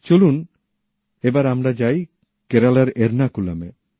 চলুন এবার আমরা যাই কেরালার এরনাকুলামে